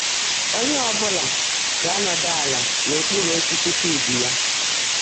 Onye ọ bụla ga-anọdụ ala n'okpuru osisi fig ya